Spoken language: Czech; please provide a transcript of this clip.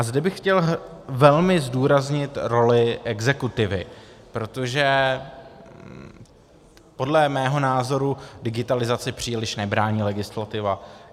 A zde bych chtěl velmi zdůraznit roli exekutivy, protože podle mého názoru digitalizaci příliš nebrání legislativa.